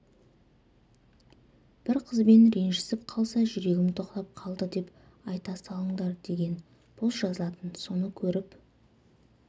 бір қызбен ренжісіп қалса жүрегім тоқтап қалды деп айта салыңдар деген пост жазатын соны көріп